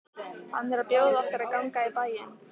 Hann er að bjóða okkur að ganga í bæinn.